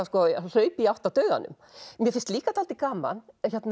hlaupa í átt að dauðanum mér finnst líka dálítið gaman